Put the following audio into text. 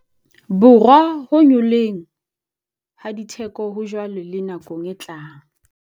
Borwa ho nyolloheng ha ditheko hajwale le nakong e tlang.